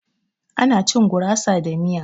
Ana cin gurasa da miya.